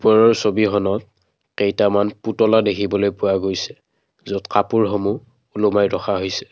ওপৰৰ ছবিখনত কেইটামান পুতলা দেখিবলৈ পোৱা গৈছে য'ত কাপোৰসমূহ ওলোমাই ৰখা হৈছে।